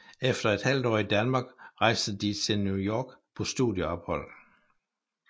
Efter et halvt år i Danmark rejste de til New York på studieophold